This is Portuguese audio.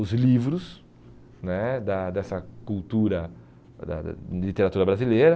os livros né da dessa cultura da literatura brasileira.